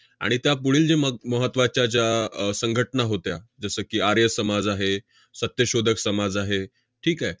आणि त्यापुढील जे मग महत्त्वाच्या ज्या अह संघटना होत्या जसं की, आर्य समाज आहे, सत्यशोधक समाज आहे. ठीक आहे?